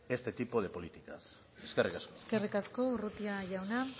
este tipo de políticas eskerrik asko eskerrik asko urrutia jauna